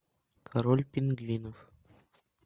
король пингвинов